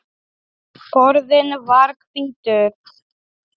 Borðinn var hvítur.